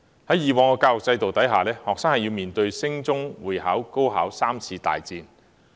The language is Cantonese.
在以往的教育制度下，學生要面對升中試、會考、高考3次"大戰"。